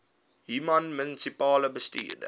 human munisipale bestuurder